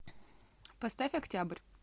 поставь октябрь